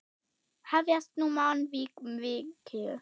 Hefjast nú mannvíg mikil.